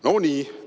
"No nii!